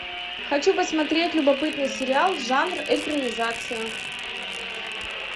хочу посмотреть любопытный сериал жанр экранизация